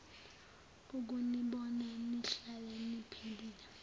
ukunibona nihlale niphilile